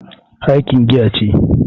Heineken giya ce.